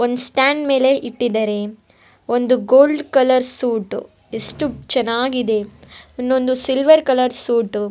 ಒಂದು ಸ್ಟ್ಯಾಂಡ್ ಮೇಲೆ ಇಟ್ಟಿದ್ದಾರೆ ಒಂದು ಗೋಲ್ಡ್ ಕಲರ್ ಸೂಟ್ ಎಷ್ಟು ಚೆನ್ನಾಗಿದೆ ಇನ್ನೊಂದು ಸಿಲ್ವೆರ್ ಕಲರ್ ಸೂಟ್ .